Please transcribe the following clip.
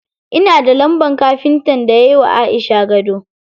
Ina da lambar kafintan da yayi wa Aisha gado.